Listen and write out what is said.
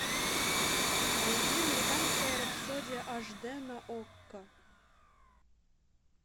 найди американская рапсодия аш д на окко